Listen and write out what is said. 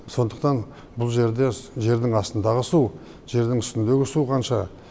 сондықтан бұл жерде жердің астындағы су жердің үстіндегі су қанша